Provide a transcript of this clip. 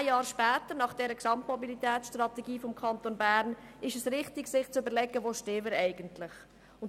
Zehn Jahre nach dem Formulieren der Gesamtmobilitätsstrategie des Kantons Bern ist es richtig, sich zu überlegen, wo wir eigentlich stehen.